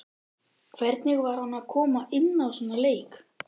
Hvernig var að koma inná í svona leik?